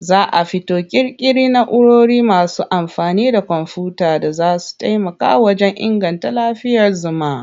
Za a fito ƙirƙiri na'urori masu amfani da komfuyuta da za su taimaka wajen inganta lafiyar zuma.